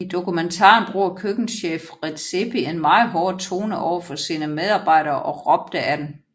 I dokumentaren bruger køkkenchef Redzepi en meget hård tone over for sine medarbejdere og råbte ad dem